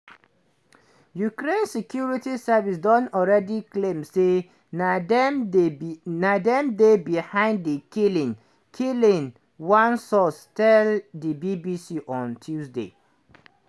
ukraine security service don already claim say na dem dey na dem dey behind di killing killing one source tell di bbc on tuesday.